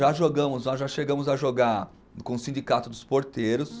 Já jogamos, nós já chegamos a jogar com o Sindicato dos Porteiros.